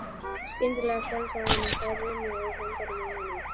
Skyndilega stansaði hann og þær runnu úr höndunum á honum.